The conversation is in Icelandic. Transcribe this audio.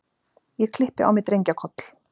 Ég klippi á mig drengjakoll.